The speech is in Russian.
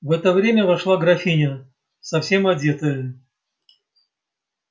в это время вошла графиня совсем одетая